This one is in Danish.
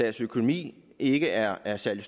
hvis økonomi ikke er er særlig